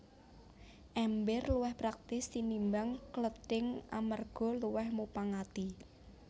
Èmbèr luwih praktis tinimbang klething amarga luwih mupangati